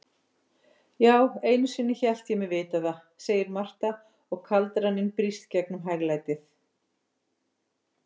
Já, einusinni hélt ég mig vita það, segir Marta og kaldraninn brýst gegnum hæglætið.